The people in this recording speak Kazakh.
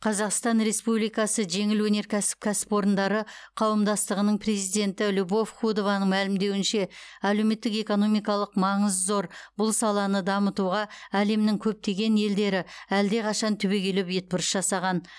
қазақстан республикасы жеңіл өнеркәсіп кәсіпорындары қауымдастығының президенті любовь худованың мәлімдеуінше әлеуметтік экономикалық маңызы зор бұл саланы дамытуға әлемнің көптеген елдері әлдеқашан түбегейлі бетбұрыс жасаған